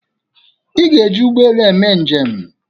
Ị ga-eji ụgbọ elu eme njem!